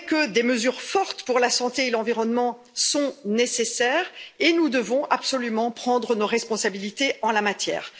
Des mesures fortes pour la santé et l'environnement sont nécessaires et nous devons absolument prendre nos responsabilités en la matière.